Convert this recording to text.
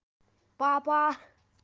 папа